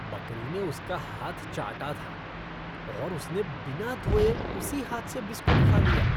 बकरी ने उसका हाथ चाटा था, और उसने बिना धोए उसी हाथ से बिस्कुट खा लिया।